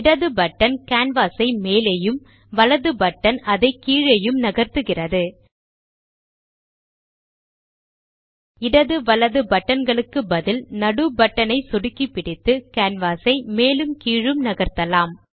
இடது button canvas ஐ மேலேயும் வலது பட்டன் அதை கீழேயும் நகர்த்துகிறது இடது வலது பட்டன் களுக்கு பதிலாக நடு பட்டன் ஐ சொடுக்கிப்பிடித்து கேன்வாஸ் ஐ மேலும் கீழும் நகர்த்தலாம்